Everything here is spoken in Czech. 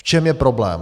V čem je problém?